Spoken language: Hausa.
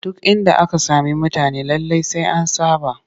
Duk inda aka sami mutane lallai sai an saɓa